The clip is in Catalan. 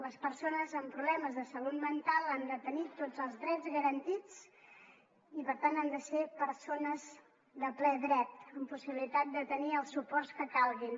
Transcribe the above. les persones amb problemes de salut mental han de tenir tots els drets garantits i per tant han de ser persones de ple dret amb possibilitat de tenir els suports que calguin